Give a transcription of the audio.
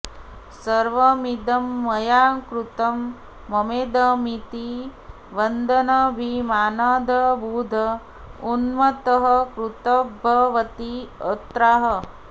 सर्वमिदं मया कृतं ममेदमिति वदन्नभिमानादबुध उन्मत्तः कर्तृवद्भवति अत्राह